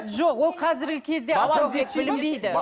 жоқ ол қазіргі кезде